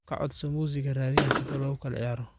Kacodso musika radiyaha sifo lakulaciyaro.